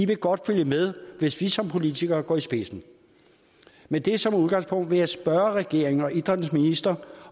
vil godt følge med hvis i som politikere går i spidsen med det som udgangspunkt vil jeg spørge regeringen og idrættens minister